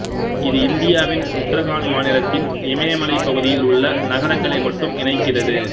இது இந்தியாவின் உத்தராகண்ட் மாநிலத்தின் இமயமலைப் பகுதியில் உள்ள நகரங்களை மட்டும் இணைக்கிறது